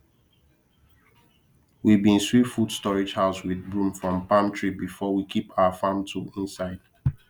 we been sweep food storage house with broom from palm tree before we keep our farm tool inside